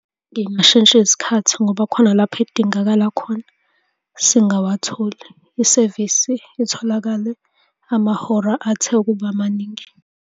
Ngingashintsha izikhathi ngoba khona lapha ekudingakala khona singawatholi. Isevisi itholakale amahora athe ukuba maningi.